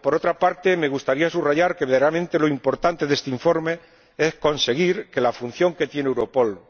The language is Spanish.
Por otra parte me gustaría subrayar que, verdaderamente, lo importante de este informe es conseguir que la función que tiene Europol